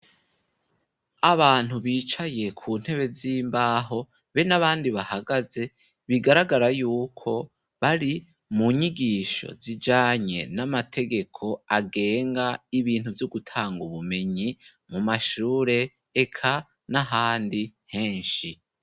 Abantu bicaye ku ntebe z'imbaho be n'abandi bahagaze bigaragara yuko bari mu nyigisho zijanye n'amategeko agenga ibintu vy'ugutanga ubumenyi mu mashure eka n'ahandi henshi.